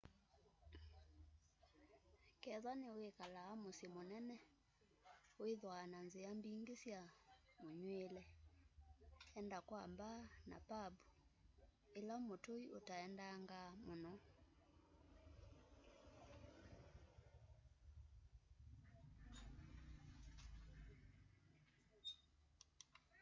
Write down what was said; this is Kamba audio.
kethwa niwikalaa musyi munene withwaa na nzia mbingi sya munywiile enda kwa mbaa na pambu ila mutui utaendangaa muno